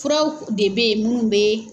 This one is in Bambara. Furaw de bɛ ye munnu bɛ